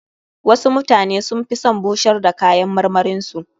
Wasu mutane sun fi son bushar da kayan marmarin su.